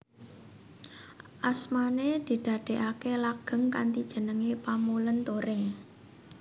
Asmané didadèaké langgeng kanthi jeneng Pamulèn Turing